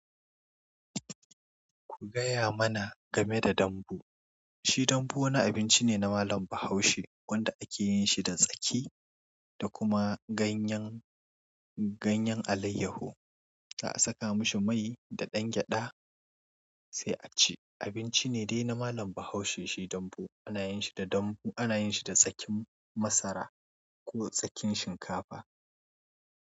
Ku gaya mana game da dambu. Shi dambu wani abinci ne na malam Bahaushe, wanda ake yin shi da tsaki, da kuma ganyen, ganyen alayyahu. Za a saka mashi mai da ɗan gyaɗa, sai a ci. Abinci ne dai na malam Bahaushe. Shi dambu ana yin shi da dambu, ana yin shi da tsakin masara ko tsakin shinkafa.